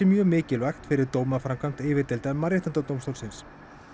mjög mikilvægt fyrir dómaframkvæmd yfirdeildar Mannréttindadómstólsins